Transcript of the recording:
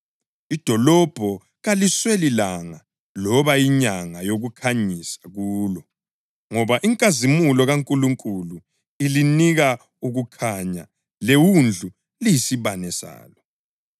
Idolobho kalisweli langa loba inyanga yokukhanyisa kulo ngoba inkazimulo kaNkulunkulu ilinika ukukhanya leWundlu liyisibane salo.